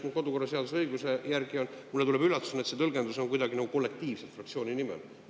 Mulle tuleb üllatusena, et tõlgenduse see oli kuidagi nagu kollektiivne, fraktsiooni nimel.